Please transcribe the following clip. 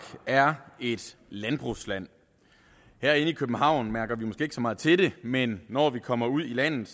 er et landbrugsland her i københavn mærker vi måske ikke så meget til det men når vi kommer ud i landet